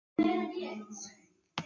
Jæja, ég þarf að fara að koma mér heim